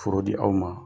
Foro di aw ma